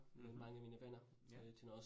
Mh, ja